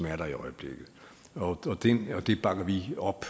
er der i øjeblikket og det bakker vi op